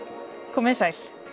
komið þið sæl